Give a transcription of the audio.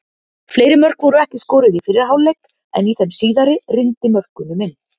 Fleiri mörk voru ekki skoruð í fyrri hálfleik en í þeim síðari rigndi mörkunum inn.